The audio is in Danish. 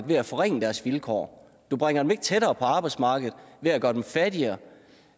ved at forringe deres vilkår du bringer dem ikke tættere på arbejdsmarkedet ved at gøre dem fattigere